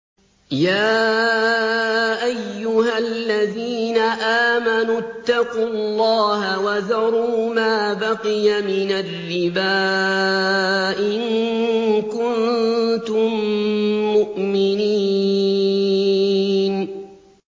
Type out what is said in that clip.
يَا أَيُّهَا الَّذِينَ آمَنُوا اتَّقُوا اللَّهَ وَذَرُوا مَا بَقِيَ مِنَ الرِّبَا إِن كُنتُم مُّؤْمِنِينَ